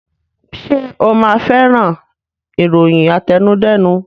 Ṣe o ma fẹ́ràn ìròyìn àtẹnudẹ́nu